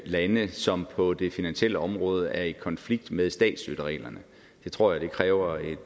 lande som på det finansielle område er i konflikt med statsstøttereglerne tror jeg kræver et